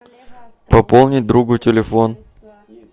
пополнить другу телефон